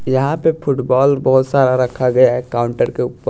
यहां पे फुटबॉल बहुत सारा रखा गया है काउंटर के ऊपर--